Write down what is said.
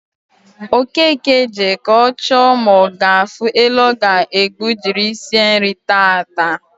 Okeke jee ka o choo ma o gaafu ele o ga egbu jiri shie nri taata